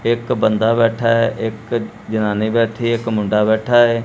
ਇੱਕ ਬੰਦਾ ਬੈਠਾ ਹੈ ਇੱਕ ਜਨਾਨੀ ਬੈਠੀ ਇੱਕ ਮੁੰਡਾ ਬੈਠਾ ਹੈ।